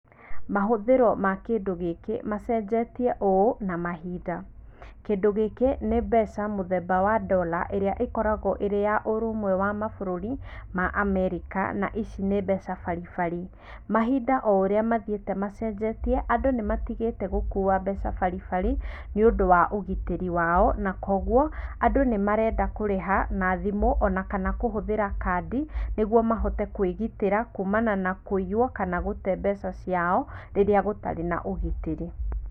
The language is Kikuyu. Mahũthĩro ma kĩndũ gĩkĩ machenjetie ũũ na mahinda, kĩndũ gĩkĩ nĩ mbeca mũthemba wa Ndora ĩrĩ ĩkoragwo ĩrĩ ya ũrũmwe wa mabũrũrĩ ma Amerika na ici nĩ mbeca baribari, mahinda o ũrĩa mathiĩte machenjetie andũ nimatigĩte gũkua mbeca baribari nĩ ũndũ wa ũgitĩri wao na kwoguo andũ nĩ marenda kũrĩha na thimũ ona kana kũhũthĩra kandi nĩguo mahote kwĩgitĩra kumana na kũiywo kana gũte mbeca ciao rĩrĩa gũtarĩ na ũgitĩri.